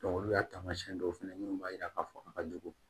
olu y'a taamasiyɛn dɔw fɛnɛ min b'a jira k'a fɔ a ka jugu